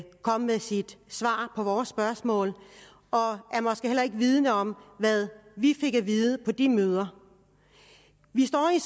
kom med sit svar på vores spørgsmål og er måske heller ikke vidende om hvad vi fik at vide på de møder vi står i